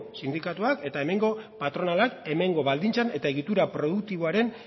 sindikatuak eta hemengo patronalak hemengo baldintza eta egitura produktiboaren